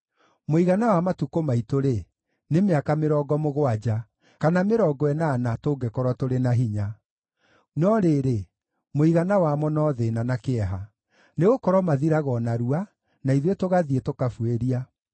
Mũigana wa matukũ maitũ-rĩ, nĩ mĩaka mĩrongo mũgwanja, kana mĩrongo ĩnana, tũngĩkorwo tũrĩ na hinya; no rĩrĩ, mũigana wamo no thĩĩna na kĩeha, nĩgũkorwo mathiraga o narua, na ithuĩ tũgathiĩ, tũkabuĩria.